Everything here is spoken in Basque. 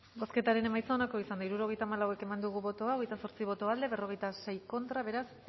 bozketaren emaitza onako izan da hirurogeita hamalau eman dugu bozka hogeita zortzi boto aldekoa cuarenta y seis contra beraz